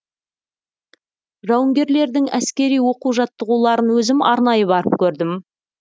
жауынгерлердің әскери оқу жаттығуларын өзім арнайы барып көрдім